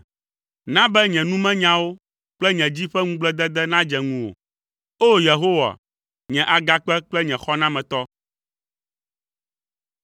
Na be nye numenyawo kple nye dzi ƒe ŋugbledede nadze ŋuwò, O! Yehowa, nye Agakpe kple nye Xɔnametɔ.